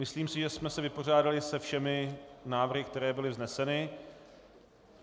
Myslím si, že jsme se vypořádali se všemi návrhy, které byly vzneseny.